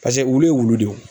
wulu ye wulu de ye